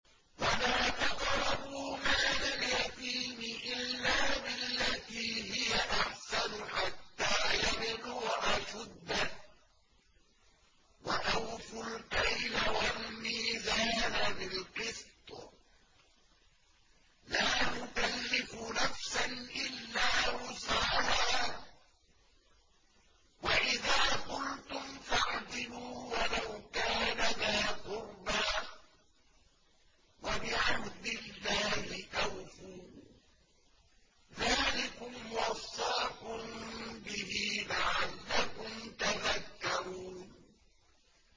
وَلَا تَقْرَبُوا مَالَ الْيَتِيمِ إِلَّا بِالَّتِي هِيَ أَحْسَنُ حَتَّىٰ يَبْلُغَ أَشُدَّهُ ۖ وَأَوْفُوا الْكَيْلَ وَالْمِيزَانَ بِالْقِسْطِ ۖ لَا نُكَلِّفُ نَفْسًا إِلَّا وُسْعَهَا ۖ وَإِذَا قُلْتُمْ فَاعْدِلُوا وَلَوْ كَانَ ذَا قُرْبَىٰ ۖ وَبِعَهْدِ اللَّهِ أَوْفُوا ۚ ذَٰلِكُمْ وَصَّاكُم بِهِ لَعَلَّكُمْ تَذَكَّرُونَ